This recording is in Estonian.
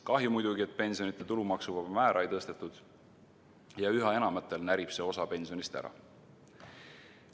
Kahju muidugi, et pensionide puhul tulumaksuvaba määra ei tõstetud ja üha enamatel närib see osa pensionist ära.